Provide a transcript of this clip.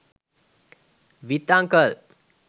with uncle